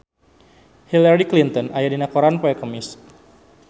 Hillary Clinton aya dina koran poe Kemis